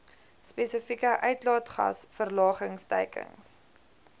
spesifieke uitlaatgas verlagingsteikens